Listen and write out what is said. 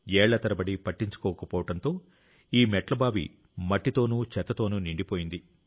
ఏళ్ల తరబడి పట్టించుకోకపోవడంతో ఈ మెట్ల బావి మట్టితోనూ చెత్తతోనూ నిండిపోయింది